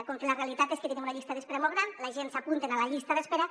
com que la realitat és que tenim una llista d’espera molt gran la gent s’apunten a la llista d’espera